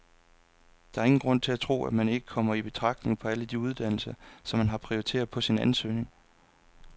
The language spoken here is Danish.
Der er ingen grund til at tro, at man ikke kommer i betragtning på alle de uddannelser, som man har prioriteret på sin ansøgning.